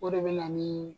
O de bɛ na ni